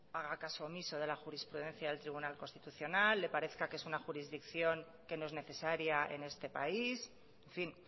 haga caso omiso de la jurisprudencia al tribunal constitucional le parezca que es una jurisdicción que no es necesaria en este país en fin